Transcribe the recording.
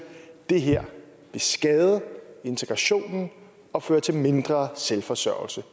det her skader integrationen og fører til mindre selvforsørgelse